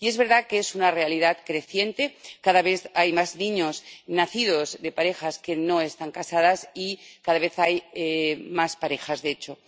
Y es verdad que es una realidad creciente cada vez hay más niños nacidos de parejas que no están casadas y cada vez hay más parejas de hecho.